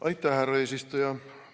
Aitäh, härra eesistuja!